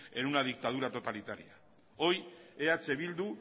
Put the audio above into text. en una dictadura totalitaria hoy eh bildu